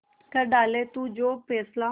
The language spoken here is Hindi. कर डाले तू जो फैसला